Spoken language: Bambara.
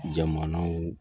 Jamanaw